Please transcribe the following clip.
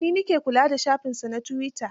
Eh, ni na ke kula da shafinsa na tuwita.